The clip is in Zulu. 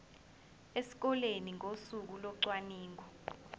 esikoleni ngosuku locwaningo